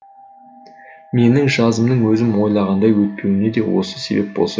менің жазымның өзім ойлағандай өтпеуіне де осы себеп болса керек